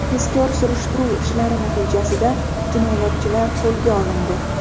Tezkor-surishtiruv ishlari natijasida jinoyatchilar qo‘lga olindi.